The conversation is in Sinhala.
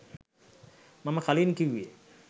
මම කලින් කිව්වේ.